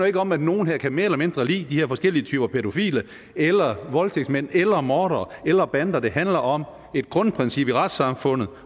ikke om at nogle her mere eller mindre kan lide de her forskellige typer pædofile eller voldtægtsmænd eller mordere eller bander det handler om et grundprincip i retssamfundet